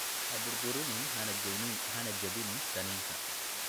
Ha burburin hana jebin kiniinka.